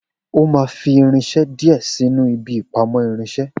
O má fi irinse dìé sinu ibi ìpamọ́ irinsé